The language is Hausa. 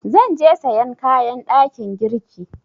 Zan je sayan kayan ɗakin girki.